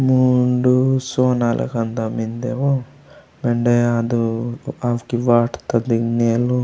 मुंडू सोना दुकान ता मेन्दे ओ मेंडे आदू आकि वाटता नेलु।